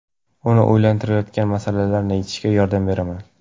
Uni o‘ylantirayotgan masalalarni yechishga yordam beraman.